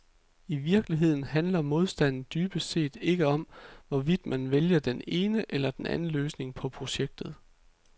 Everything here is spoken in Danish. I virkeligheden handler modstanden dybest set ikke om, hvorvidt man vælger den ene eller den anden løsning på projektet.